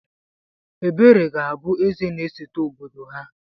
Ebere ga-abụ Eze na-esote obodo ha..